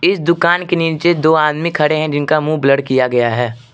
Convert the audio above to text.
इस दुकान के नीचे दो आदमी खड़े हैं जिनके मुंह ब्लर किया गया है।